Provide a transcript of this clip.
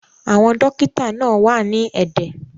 Àwọn dókítà wá náà wà ní ẹ̀dẹ̀